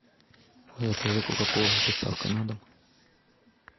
закажи кока колу с доставкой на дом